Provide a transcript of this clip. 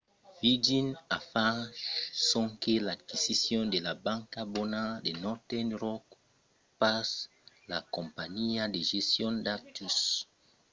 virgin a fach sonque l’aquisicion de la ‘banca bona’ de northern rock pas la companhiá de gestion d'actius